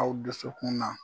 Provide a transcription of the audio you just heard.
Aw dusukun na